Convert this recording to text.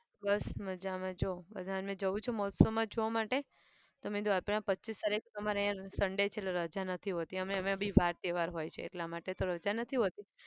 બસ મજામાં જો બધાને જવું છે મહોત્સવમાં જોવા માટે. તો મેં કીધું આપણે પચ્ચીસ તારીખે અમારે અહીંયા sunday છે એટલે રજા નથી હોતી અને એમાં બી વાર તહેવાર હોય છે એટલા માટે તો રજા નથી હોતી.